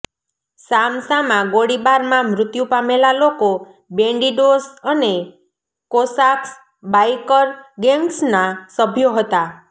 સામસામા ગોળીબારમાં મૃત્યુ પામેલા લોકો બેન્ડિડોસ અને કોસાક્સ બાઇકર ગૅન્ગ્ઝના સભ્યો હતા